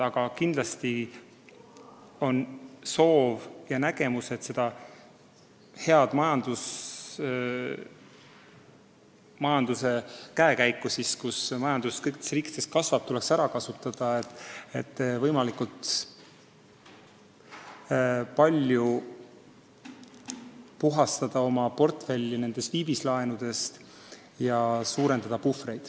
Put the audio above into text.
Aga kindlasti on seisukoht, et seda head olukorda, kus majandus kõikides riikides kasvab, tuleks ära kasutada, et võimalikult palju puhastada oma portfelli viivislaenudest ja suurendada puhvreid.